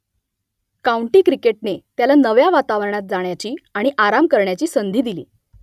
county क्रिकेटने त्याला नव्या वातावरणात जाण्याची आणि आराम करण्याची संधी दिली